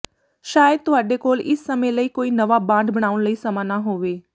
ਸ਼ਾਇਦ ਤੁਹਾਡੇ ਕੋਲ ਇਸ ਸਮੇਂ ਲਈ ਕੋਈ ਨਵਾਂ ਬਾਂਡ ਬਣਾਉਣ ਲਈ ਸਮਾਂ ਨਾ ਹੋਵੇ